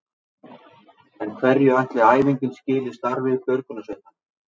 En hverju ætli æfingin skili starfi björgunarsveitanna?